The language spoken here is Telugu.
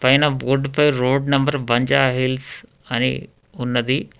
పైనా బోర్డుపై రోడ్ నెంబర్ బంజారాహిల్స్ అని ఉన్నది.